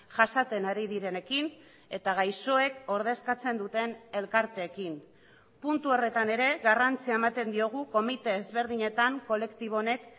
jasaten ari direnekin eta gaixoek ordezkatzen duten elkarteekin puntu horretan ere garrantzia ematen diogu komite ezberdinetan kolektibo honek